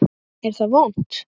Er það vont?